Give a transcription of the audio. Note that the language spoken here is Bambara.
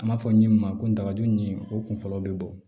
An b'a fɔ min ma ko n dagaju ɲimini o kun fɔlɔ bɛ bɔ